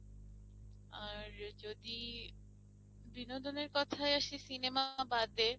আর যদি বিনোদনের কোথায় আসি cinema বাদে